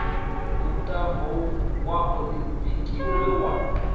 mutambo wa oḽimpiki we wa